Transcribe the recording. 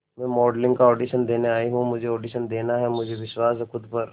मैं मॉडलिंग का ऑडिशन देने आई हूं मुझे ऑडिशन देना है मुझे विश्वास है खुद पर